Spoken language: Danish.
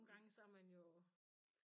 Nogen gange så man jo